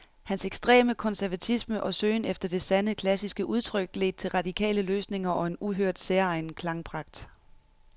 Hans ekstreme konservatisme og søgen efter det sande, klassiske udtryk ledte til radikale løsninger og en uhørt, særegen klangpragt.